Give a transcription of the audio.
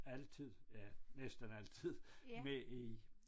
Altid ja næsten altid med i